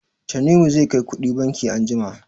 Tanimu zai kai kuɗi banki anjima.